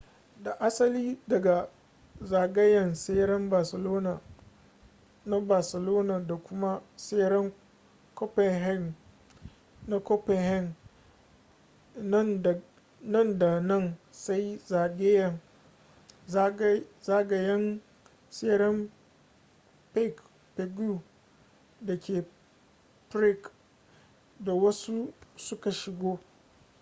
da asali daga zagayen tseren barcelona na barcelona da kuma ttseren copenhagen na copenhagen nan da nan sai zagayen tseren pague da ke prague da wasu suka shigo